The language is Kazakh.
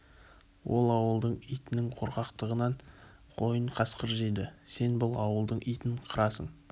ол ауылдың итінің қорқақтығынан қойын қасқыр жейді сен бұл ауылдың итін қырасың